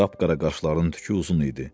Qapqara qaşlarının tükü uzun idi.